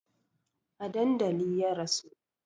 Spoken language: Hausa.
A dandali ya rasu